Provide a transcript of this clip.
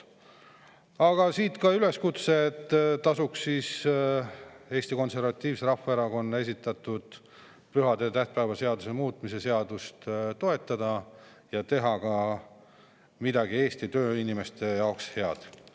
Teen siit ka üleskutse, et tasub Eesti Konservatiivse Rahvaerakonna esitatud pühade ja tähtpäevade seaduse muutmise seadust toetada ja teha ka Eesti tööinimeste jaoks midagi head.